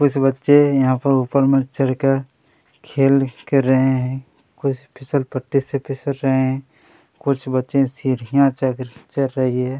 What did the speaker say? कुछ बच्चे यहाँ पर ऊपर में चड़कर खेल कर रहे है कुछ फिसल पट्टी से फिसल रहे है कुछ बच्चे सीढ़िया चघ चड़ रहे है।